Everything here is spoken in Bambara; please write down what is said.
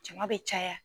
Jama bɛ caya